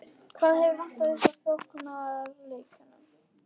Hvað hefur vantað upp á í sóknarleiknum?